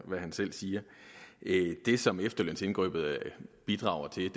af hvad han selv siger det som efterlønsindgreb bidrager til